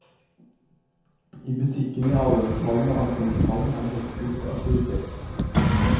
I butikkene i avgangshallen og ankomsthallen er det hektisk aktivitet.